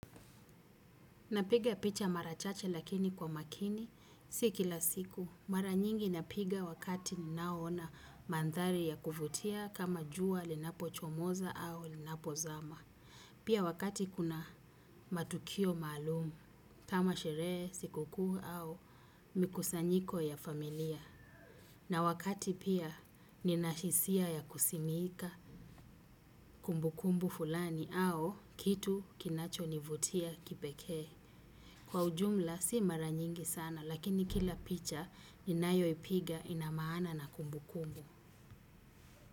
Napiga picha mara chache lakini kwa makini si kila siku. Mara nyingi napiga wakati ninaona mandhari ya kuvutia kama jua linapo chomoza au linapo zama. Pia wakati kuna matukio maalum kama sherehe sikukuu au mikusanyiko ya familia. Na wakati pia ninahisia ya kusimiika kumbukumbu fulani au kitu kinacho nivutia kipekee. Kwa ujumla si maranyingi sana lakini kila picha ninayo ipiga ina maana na kumbu kumbu.